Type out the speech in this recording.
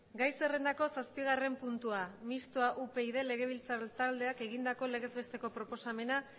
gai zerrendako zazpigarren puntua mistoa upyd legebiltzar taldeak egindako legez besteko proposamena